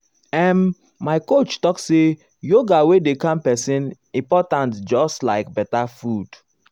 after i read one article about yoga wey dey help person relax i start new routine wey dey work for me.